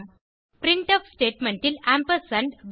printf statement ல் ampersand